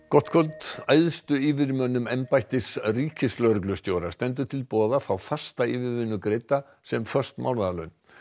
gott kvöld æðstu yfirmönnum embættis ríkislögreglustjóra stendur til boða að fá fasta yfirvinnu greidda sem föst mánaðarlaun